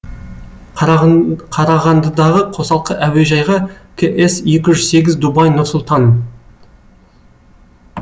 қараған қарағандыдағы қосалқы әуежайға кс екі жүз сегіз дубай нұр сұлтан